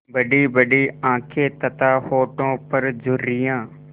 बड़ीबड़ी आँखें तथा होठों पर झुर्रियाँ